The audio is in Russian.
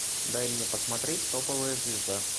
дай мне посмотреть топовая звезда